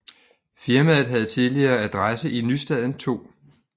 Firmaet havde tidligere adresse i Nystaden 2